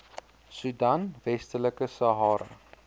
soedan westelike sahara